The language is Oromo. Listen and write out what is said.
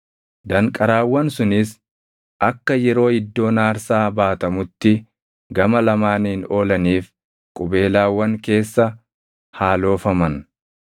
Danqaraawwan sunis akka yeroo iddoon aarsaa baatamutti gama lamaaniin oolaniif qubeelaawwan keessa haa loofaman.